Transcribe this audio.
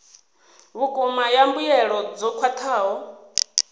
vhukuma ya mbuelo dzo khwathaho